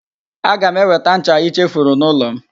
Aga m eweta ncha i chefuru n'ụlọ m.